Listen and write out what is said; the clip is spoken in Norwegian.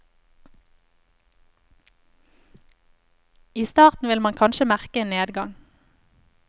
I starten vil man kanskje merke en nedgang.